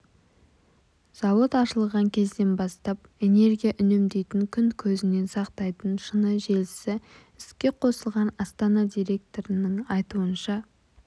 зауыт ашылған кезден бастап энергия үнемдейтін күн көзінен сақтайтын шыны желісі іске қосылған астана директорының айтуынша